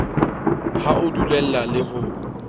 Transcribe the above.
ha o dulellane le ho